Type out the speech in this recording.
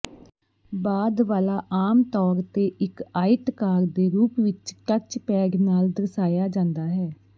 ਬਾਅਦ ਵਾਲਾ ਆਮ ਤੌਰ ਤੇ ਇੱਕ ਆਇਤਕਾਰ ਦੇ ਰੂਪ ਵਿੱਚ ਟੱਚਪੈਡ ਨਾਲ ਦਰਸਾਇਆ ਜਾਂਦਾ ਹੈ